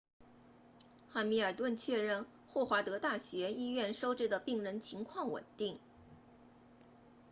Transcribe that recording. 汉密尔顿 hamilton 确认霍华德大学医院收治的病人情况稳定